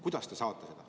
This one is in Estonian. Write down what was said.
Kuidas te saate?